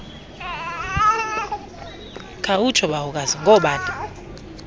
khawutsho bawokazi ngoobani